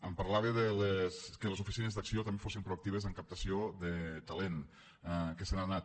em parlava que les oficines d’acció també fossin proactives en captació de talent que se n’ha anat